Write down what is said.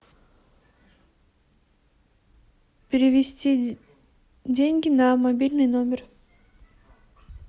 перевести деньги на мобильный номер